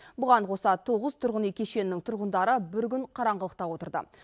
бұған қоса тоғыз тұрғын үй кешенінің тұрғындары бір күн қараңғылықта отырды